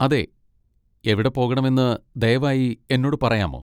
അതെ, എവിടെ പോകണമെന്ന് ദയവായി എന്നോട് പറയാമോ?